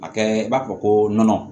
A kɛ i b'a fɔ ko nɔnɔ